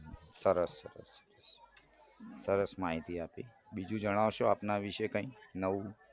સરસ સરસ સરસ માહિતી આપી બીજું જણાવશો કાંઈ આપના વિશે કાંઈ નવું